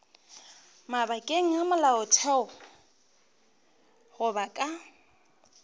mabakeng a molaotheo goba ka